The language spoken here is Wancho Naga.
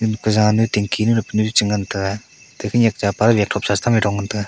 jan kujanu tingki nu pe nu che ngan tega khonyak chapa gatkhop sa chetam ding ngan tega.